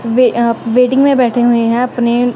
वे अं वेटिंग में बैठे हुए हैं अपने--